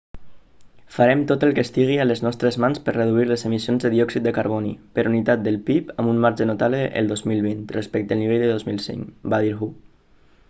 farem tot el que estigui a les nostres mans per reduir les emissions de diòxid de carboni per unitat del pib amb un marge notable el 2020 respecte al nivell del 2005 va dir hu